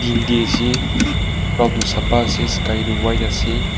cloud toh sapha ase sky toh white ase.